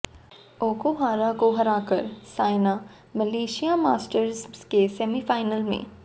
Okuhara को हराकर Saina Malaysia Masters के सेमीफाइनल में